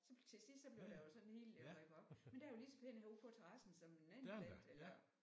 Så til sidst så blev jeg jo sådan helt ja iggå men den var lige så pæn herude på terrassen som en anden plante eller